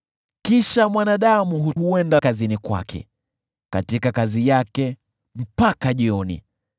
Kisha mwanadamu huenda kazini mwake, katika kazi yake mpaka jioni.